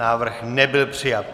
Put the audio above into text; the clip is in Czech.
Návrh nebyl přijat.